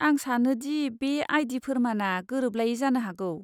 आं सानो दि बे आई. डी. फोरमानआ गोरोबलायै जानो हागौ।